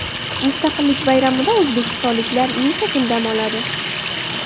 Mustaqillik bayramida o‘zbekistonliklar necha kun dam oladi?.